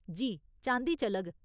जी, चांदी चलग।